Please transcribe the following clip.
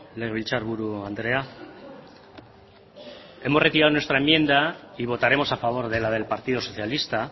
legebiltzarburu andrea hemos retirado nuestra enmienda y votaremos a favor de la del partido socialista